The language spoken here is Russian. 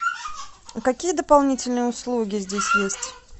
какие дополнительные услуги здесь есть